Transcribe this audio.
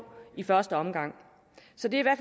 i første omgang så det